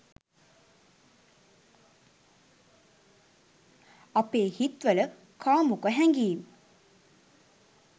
අපේ හිත් වල කාමුක හැඟීම්